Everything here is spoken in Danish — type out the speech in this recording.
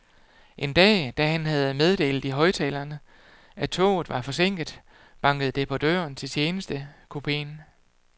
En dag, da han havde meddelt i højttaleren, at toget var forsinket, bankede det på døren til tjenestekupeen.